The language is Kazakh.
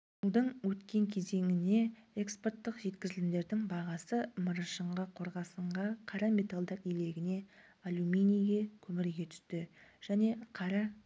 жылдың өткен кезеңіне экспорттық жеткізілімдердің бағасы мырышқа қорғасынға қара металдар илегіне алюминийге көмірге түсті және қара